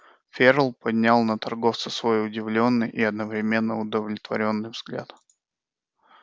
ферл поднял на торговца свой удивлённый и одновременно удовлетворённый взгляд